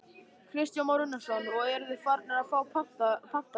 Kristján Már Unnarsson: Og eruð þið farnir að fá pantanir?